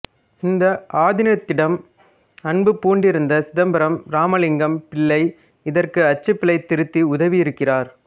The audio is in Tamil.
இந்த ஆதீனத்திடம் அன்பு பூண்டிருந்த சிதம்பரம் இராமலிங்கம் பிள்ளை இதற்கு அச்சுப்பிழை திருத்தி உதவியிருக்கிறார்